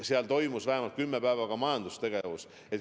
Seal toimus detsembris vähemalt kümme päeva majandustegevus.